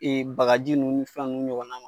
Ee bagaji nunnu ni fɛn nunnu ɲɔgɔn na.